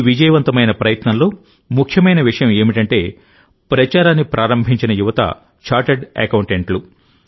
ఈ విజయవంతమైన ప్రయత్నంలో ముఖ్యమైన విషయం ఏమిటంటేప్రచారాన్ని ప్రారంభించిన యువత చార్టర్డ్ అకౌంటెంట్లు